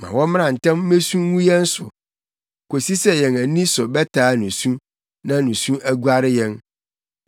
Ma wɔmmra ntɛm mmesu ngu yɛn so kosi sɛ yɛn ani so bɛtaa nusu na nusu aguare yɛn.